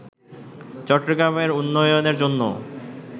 চট্টগ্রামের উন্নয়নের জন্য